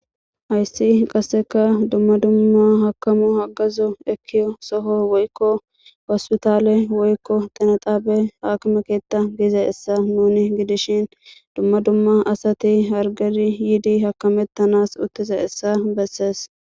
ayssi qasseka dumma dumma hakamu hagazo ekiyo soho woykko wasu taale woykko xinexaabe hakmekeetta giize essa nuni gidishin dumma dumma asati hargeri yiidi hakamettanas uttize issa bessees